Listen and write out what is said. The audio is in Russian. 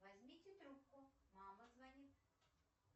возьмите трубку мама звонит